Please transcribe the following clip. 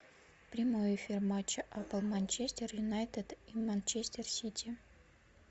прямой эфир матча апл манчестер юнайтед и манчестер сити